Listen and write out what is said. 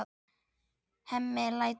Hemmi lætur.